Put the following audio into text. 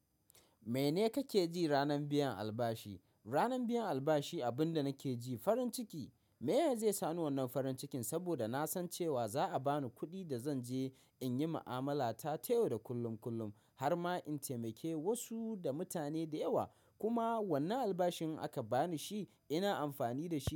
Mene kake ji ranar biyan albashi? Ranan biyan albashi abin da nake ji farin ciki. Meye zai sani wannan farin cikin? Saboda na san cewa za a bani kuɗi da zan je in yi ma'amala ta--ta yau da kullum kullum har ma in taimake wasu da mutane da yawa. Kuma wannan albashin aka bani shi ina amfani da shi.